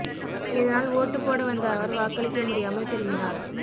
இதனால் ஓட்டு போட வந்த அவர் வாக்களிக்க முடியாமல் திரும்பினார்